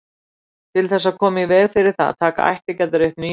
Til þess að koma í veg fyrir það taka ættingjarnir upp ný nöfn.